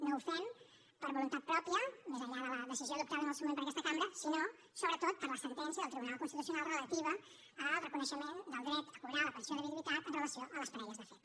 no ho fem per voluntat pròpia més enllà de la decisió adoptada en el seu moment per aquesta cambra sinó sobretot per la sentència del tribunal constitucional relativa al reconeixement del dret a cobrar la pensió de viduïtat amb relació a les parelles de fet